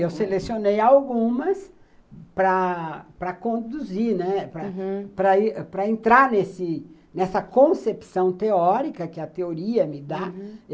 Eu selecionei algumas para para conduzir, né, uhum, para para entra nesse nessa concepção teórica que a teoria me dá, uhum.